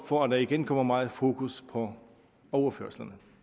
for at der igen kommer meget fokus på overførslerne